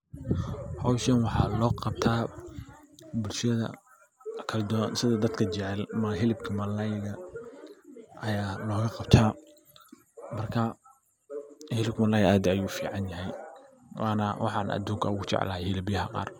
Hawshan waxaa loo qabta bulshada dadka kala duban sida dadka jecel hilibka malalayda aya looga qabtaa. Marka hilibka malalayda aad ayu u fican yahay waana waxa aan aduunka ogu jeclahay hilibyaha qaar.